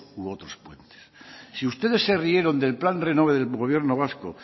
u otros puentes si ustedes se rieron del plan renove del gobierno vasco